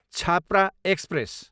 Chhapra express